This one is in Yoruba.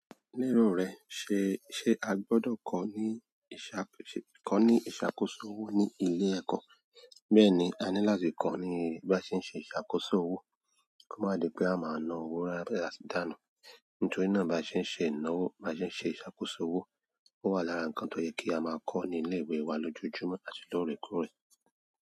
Ní ero rẹ̀, ṣe, ṣe a gbọ́dọ̀ kọ́ ní ìṣàkóso owó ní ilé ẹ̀kọ́? Bẹ́ẹ̀ni, a ní láti kọ́ ní bí a ṣe ń ṣe ìṣàkóso owó, kí ó má di pé a máa na owó láti dànù. Nítorí náà bí a bá ṣe ń ṣe ìnáwó, bá ṣe ń ṣe ìṣàkóso owó, ó wà lára ǹkan tó yẹ kí a máa kọ́ ní ilé ìwé wa lójoojúmọ́ àti lóòrèkóòrè.